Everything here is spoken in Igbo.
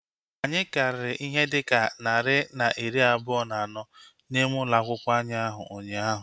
Anyị karịrị ihe dịka narị na iri abụọ na anọ n'ime ụlọ akwụkwọ anyị ụnyaahụ